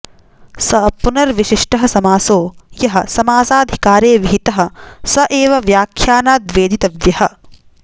स पुनर्विशिष्टः समासो यः समासाधिकारे विहितः स एव व्याख्यानाद्वेदितव्यः